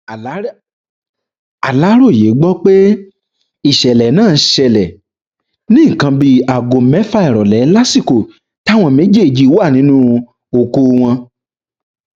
aláròye gbọ pé ìṣẹlẹ náà ṣẹlẹ ní nǹkan bíi aago mẹfà ìrọlẹ lásìkò táwọn méjèèjì wà nínú oko wọn